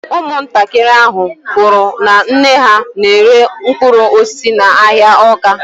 Ụmụntakịrị ahụ kwuru na nne ha na-ere mkpụrụ osisi n’ahịa Awka